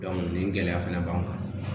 nin gɛlɛya fɛnɛ b'an kan